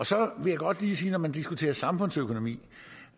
så vil jeg godt lige sige at når man diskuterer samfundsøkonomi